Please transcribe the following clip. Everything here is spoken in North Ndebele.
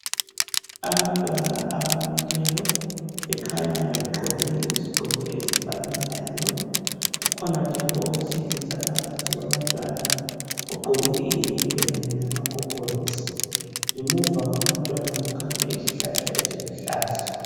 Abantwana abamileyo bekhanya begqoke izigqoko ezifananayo kukhona njalo owesilisa phakathi kwabantwana ogqoke iyembe kanye lama gogorosi, ngemuva kwabantwana kukhanya izihlahla eziluhlaza.